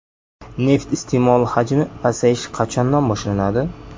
Neft iste’moli hajmi pasayishi qachondan boshlanadi ?